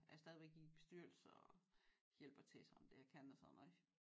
Er stadigvæk i bestyrelser hjælper til sådan det jeg kan og sådan noget